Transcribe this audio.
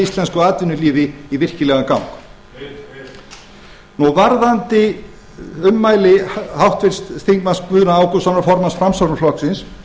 íslensku atvinnulífi í virkilegan gang heyr heyr varðandi ummæli háttvirts þingmanns guðna ágústssonar formanns framsóknarflokksins